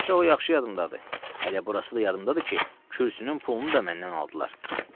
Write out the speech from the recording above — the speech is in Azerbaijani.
Çox yaxşı yadımdadır, elə burası da yadımdadır ki, kürsünün pulunu da məndən aldılar.